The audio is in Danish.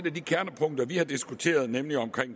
de kernepunkter som vi har diskuteret nemlig